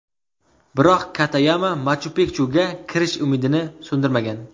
Biroq Katayama Machu-Pikchuga kirish umidini so‘ndirmagan.